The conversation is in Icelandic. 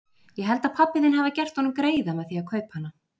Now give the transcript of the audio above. Ég held að pabbi þinn hafi gert honum greiða með því að kaupa hana.